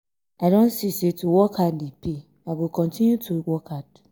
i don see say to work hard dey pay i go continue to work hard.